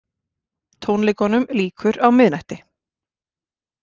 Tónleikunum lýkur á miðnætti